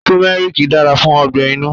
Turmeric dára fún ọgbẹ-inú.